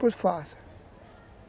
Pois faça.